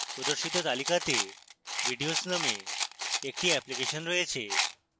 প্রদর্শিত তালিকাতে videos named একটি অ্যাপ্লিকেশন রয়েছে